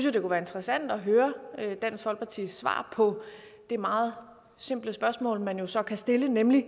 at det kunne være interessant at høre dansk folkepartis svar på det meget simple spørgsmål man så kan stille nemlig